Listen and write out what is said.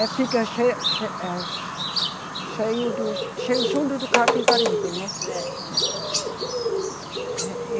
É, fica che, che, eh, cheio do, cheio junto do Capibaribe, né? É, é, é. É.